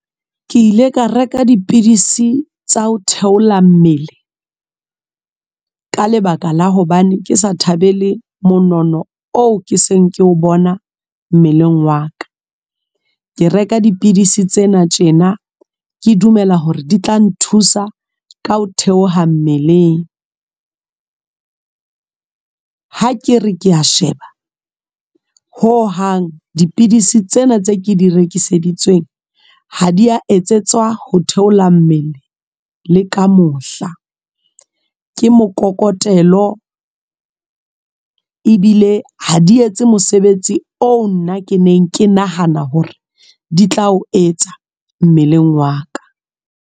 Ke ile ka reka dipidisi tsa ho theola mmele, ka lebaka la hobane ke sa thabele monono oo ke seng ke o bona mmeleng wa ka. Ke reka dipidisi tsena tjena ke dumela hore di tla nthusa ka ho theoha mmeleng. Ha ke re kea sheba ho hang dipidisi tsena tse ke di rekiseditsweng ha diya etsetswa ho theola mmele le ka mohla, ke mokokotlelo ebile ha di etse mosebetsi oo nna ke neng ke nahana hore di tla o etsa mmeleng wa ka.